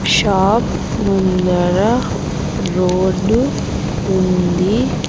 Shop ముందర road ఉంది.